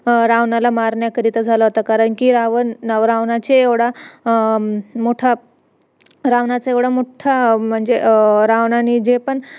production करायला आले की अशी अशी company आहे तिकडे तुम्ही invest करा वगैरे असं तसं फक्त बोलवलेल्या आम्हाला त्या बहाण्याने